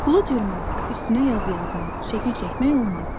Pulu cırmaq, üstünə yazı yazmaq, şəkil çəkmək olmaz.